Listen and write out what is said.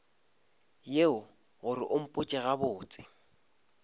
yeo gore o mpotše gabotse